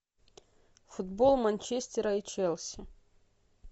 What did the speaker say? футбол манчестера и челси